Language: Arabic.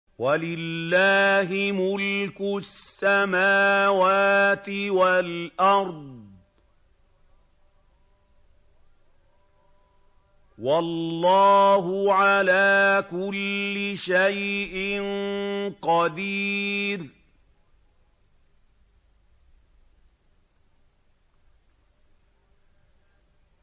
وَلِلَّهِ مُلْكُ السَّمَاوَاتِ وَالْأَرْضِ ۗ وَاللَّهُ عَلَىٰ كُلِّ شَيْءٍ قَدِيرٌ